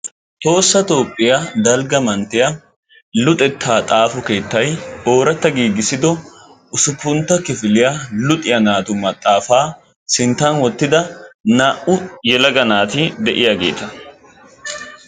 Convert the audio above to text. Toossa toophphiya dalgga manttiya luxettaa xaafo keettayi ooratta giigissido usuppuntta kifiliya luxiya naatu maxaafaa sinttan wottida naa"u yelaga naati de"iyageeta.